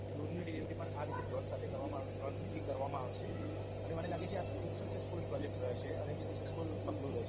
દૂરની delivery પણ આ રીતે drones સાથે કરવામાં drones થી કરવામાં આવશે અને મને લાગે છે આ successful project છે અને successful પગલું રહેશે